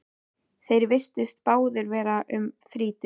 Þeir virtust báðir vera um þrítugt.